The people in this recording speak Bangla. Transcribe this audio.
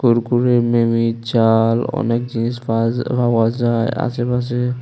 প্রুকুরের মেমী চাল অনেক জিনিস পাজ ফাওয়া যায় আশেপাশে।